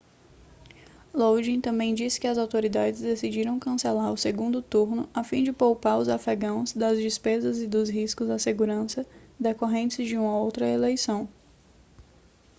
lodin também disse que as autoridades decidiram cancelar o segundo turno a fim de poupar os afegãos das despesas e dos riscos à segurança decorrentes de uma outra eleição